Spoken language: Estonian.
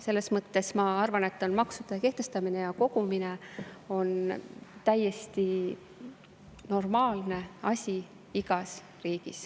Selles mõttes on maksude kehtestamine ja kogumine minu arvates täiesti normaalne asi igas riigis.